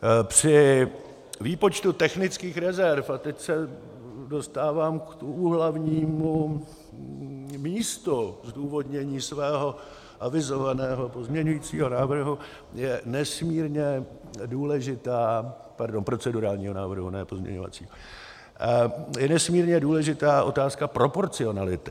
Při výpočtu technických rezerv, a teď se dostávám k tomu hlavnímu místu zdůvodnění svého avizovaného pozměňovacího návrhu, je nesmírně důležitá, pardon, procedurálního návrhu, ne pozměňovacího, je nesmírně důležitá otázka proporcionality.